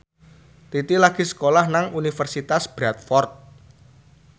Titi lagi sekolah nang Universitas Bradford